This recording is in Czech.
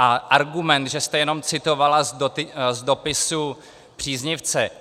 A argument, že jste jenom citovala z dopisu příznivce.